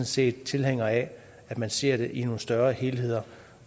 set tilhænger af at man ser det i nogle større helheder